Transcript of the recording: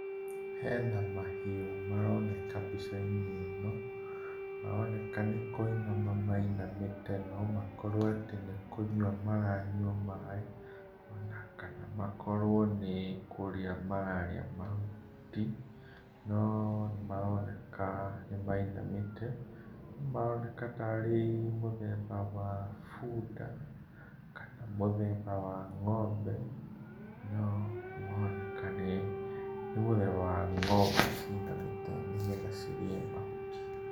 Hena mahiũ maroneka mbica-inĩ ĩno, maroneka nĩ kũinama mainamĩte no makorwo atĩ nĩ kũnyua maranyua maĩ, ona kana makorwo nĩ kũrĩa mararĩa mahuti, noo nĩmaroneka nĩmainamĩte. Maroneka tarĩ mũthemba wa bunda, kana mũthemba wa ng'ombe, no nĩmaroneka nĩĩ, nĩ mũthemba wa ng'ombe cinamĩte nĩgetha cirĩe mahuti.